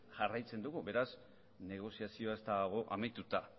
jarraitzen dugu beraz negoziazioa ez dago amaituta